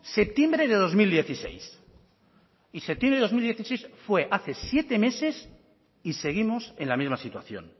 septiembre de dos mil dieciséis y septiembre de dos mil dieciséis fue hace siete meses y seguimos en la misma situación